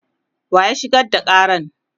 wa ya shigar da Karan?